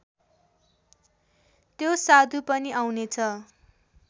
त्यो साधु पनि आउनेछ